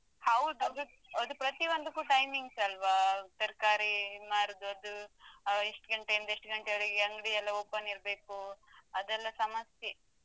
ಹೌದು ಅದು ಅದು ಪ್ರತಿಯೊಂದಕ್ಕೆ timings ಅಲ್ವಾ ತರ್ಕಾರಿ ಮಾರುದು ಅದು ಎಷ್ಟು ಗಂಟೆಯಿಂದ ಎಷ್ಟು ಗಂಟೆಯವರೆಗೆ ಅಂಗ್ಡಿ ಎಲ್ಲಾ open ಇರ್ಬೇಕು ಅದೆಲ್ಲಾ ಸಮಸ್ಯೆ.